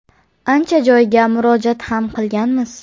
Ancha joyga murojaat ham qilganmiz.